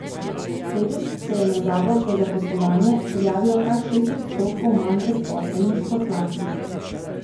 Letos se je na zavod za zaposlovanje prijavilo kar šest odstotkov manj brezposelnih, kot lani.